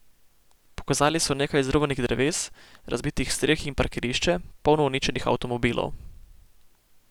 Pokazali so nekaj izruvanih dreves, razbitih streh in parkirišče, polno uničenih avtomobilov.